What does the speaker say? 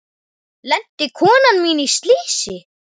Lenti konan mín í slysi?